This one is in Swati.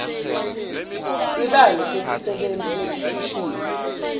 tibalo tetisebenti letikhishwe